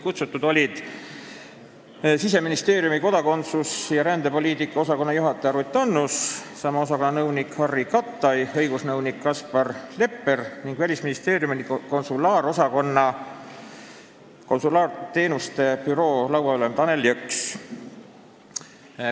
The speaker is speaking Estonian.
Kohale olid kutsutud Siseministeeriumi kodakondsus- ja rändepoliitika osakonna juhataja Ruth Annus, sama osakonna nõunik Harry Kattai ja õigusnõunik Kaspar Lepper ning Välisministeeriumi konsulaarosakonna konsulaarteenuste büroo lauaülem Tanel Jõks.